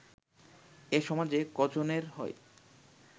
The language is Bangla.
এ সমাজে ক’জনের হয়